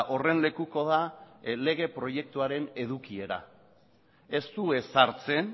horren lekuko da lege proiektuaren edukiera ez du ezartzen